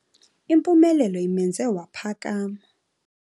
Impumelelo imenze waphakama.